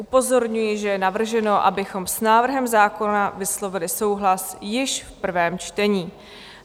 Upozorňuji, že je navrženo, abychom s návrhem zákona vyslovili souhlas již v prvém čtení.